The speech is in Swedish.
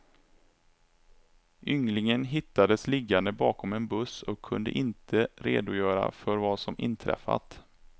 Ynglingen hittades liggande bakom en buss och kunde inte redogöra för vad som inträffat.